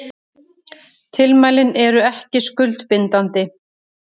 Tilmælin eru ekki skuldbindandi